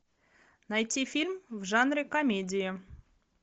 найти фильм в жанре комедия